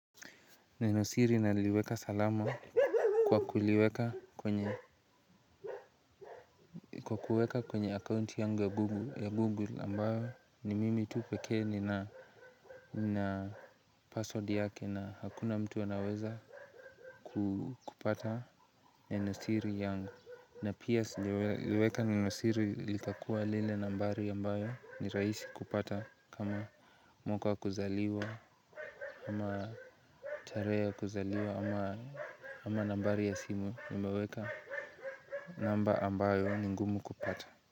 Nenosiri naliweka salama, kwa kuliweka kwenye akaunti ya 'Google' ambayo ni mimi tu pekee nina password yake na hakuna mtu anaweza kupata nenosiri yangu. Na pia sijaliweka nenosiri likakuwa lile nambari ambayo ni rahisi kupata kama mwaka wa kuzaliwa, ama tarehe ya kuzaliwa ama nambari ya simu, nimeweka namba ambayo ni ngumu kupata.